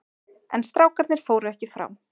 En strákarnir fóru ekki frá.